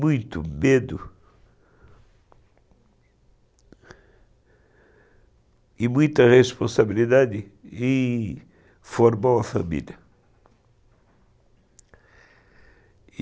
muito medo e muita responsabilidade em formar uma família.